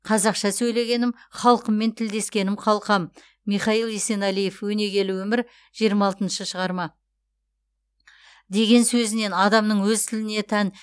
қазақша сөйлегенім халқыммен тілдескенім қалқам михаил есенәлиев өнегелі өмір жиырма алтыншы шығарма деген сөзінен адамның өз тіліне тән